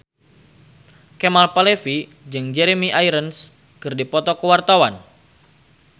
Kemal Palevi jeung Jeremy Irons keur dipoto ku wartawan